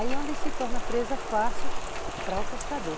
Aí, onde se torna presa fácil para o pescador.